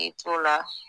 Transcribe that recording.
I t'o la